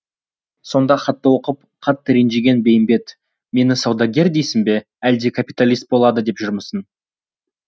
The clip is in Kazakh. сонда хатты оқып қатты ренжіген бейімбет мені саудагер дейсің бе әлде капиталист болады деп жүрмісің